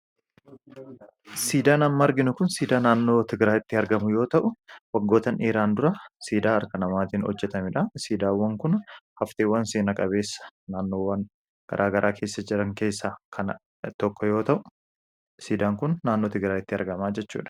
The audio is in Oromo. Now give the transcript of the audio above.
Sidaa amma arginu kun siidaa naannoo Tigiraayitti argamu yoo ta'u, waggootan dheeraan dura siidaa harka namaatiin hojjetamedha. Siidaawwan kun hafteewwan seenaa qabeessa naannoowwan gara garaa keessa jiran keessa tokko yoo ta' u siidaan kun naannoo Tigiraayitti argama jechuudha.